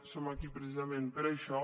som aquí precisament per això